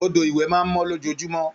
Odò ìwẹ̀ máa mọ́ lójoojúmọ́